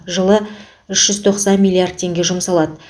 жылы үш жүз тоқсан миллиард теңге жұмсалады